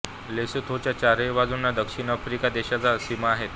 लेसोथोच्या चारही बाजुंना दक्षिण आफ्रिका देशाच्या सीमा आहेत